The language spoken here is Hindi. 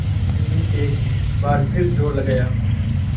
बैल ने एक बार फिर जोर लगाया